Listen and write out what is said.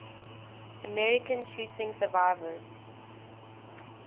american shooting survivors